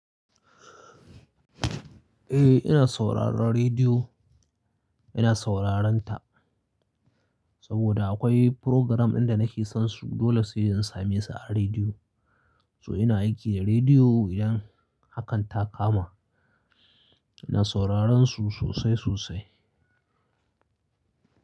Eh ina sauraron rediyo, ina sauraron ta saboda akwai program ɗin da nake son su dole sai dai in same su a rediyo. So ina aiki da rediyo idan hakan ta kama ina sauraron su sosai sosai.